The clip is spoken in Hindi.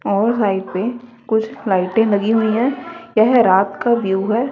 और साइट पे कुछ लाइटें लगी हुई है। यह रात का व्यू है।